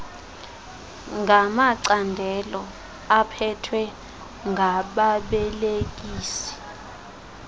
ngamacandelo aphethwe ngababelekisi